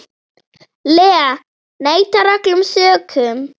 Lee neitar öllum sökum.